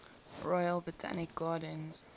royal botanic gardens